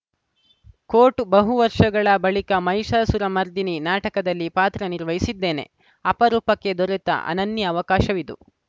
coat ಬಹು ವರ್ಷಗಳ ಬಳಿಕ ಮಹಿಷಾಸುರ ಮರ್ದಿನಿ ನಾಟಕದಲ್ಲಿ ಪಾತ್ರ ನಿರ್ವಹಿಸಿದ್ದೇನೆ ಅಪರೂಪಕ್ಕೆ ದೊರೆತ ಅನನ್ಯ ಅವಕಾಶವಿದು